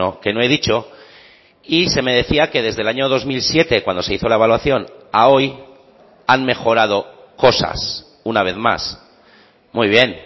que no he dicho y se me decía que desde el año dos mil siete cuando se hizo la evaluación a hoy han mejorado cosas una vez más muy bien